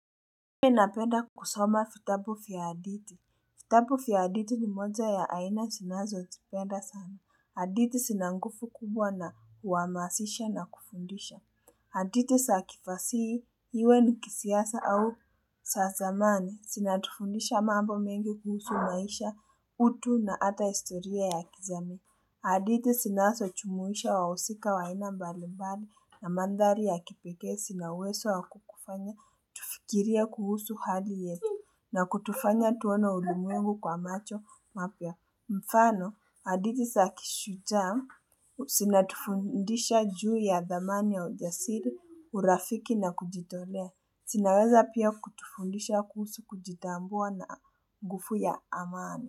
Mimi napenda kusoma vitabu vya hadithi. Vitabu vya hadithi ni moja ya aina zinazo tupenda sana. Hadithi zinanguvu kubwa na huhamasisha na kufundisha. Hadithi za kifasihi iwe ni kisiasa au za zamani. Zinatufundisha mambo mengi kuhusu maisha utu na hata historia ya kizamani. Hadithi zinazo jumuisha wahusika wa aina mbalimbani na mandhari ya kipekee zinauwezo wa kukufanya. Tufikirie kuhusu hali yetu na kutufanya tuone ulimwengu kwa macho mapya mfano hadithi za kishujaa zinatufundisha juu ya dhamani ya ujasiri urafiki na kujitolea zinaweza pia kutufundisha kuhusu kujitambua na nguvu ya amani.